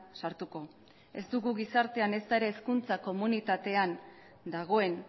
sartuko ez dugu gizartean ezta ere hezkuntza komunitatean dagoen